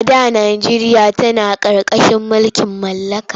A da najeriya tana ƙarƙashin mulkin mallaka.